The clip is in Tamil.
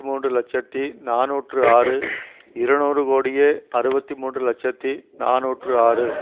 மூன்று இலட்சத்தி நாநூற்று ஆறு இருநூறு கோடியே அறுபத்தி மூன்று இலட்சத்தி நாநூற்று ஆறு